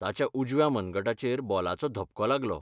ताच्या उजव्या मनगटाचेर बॉलाचो धपको लागलो.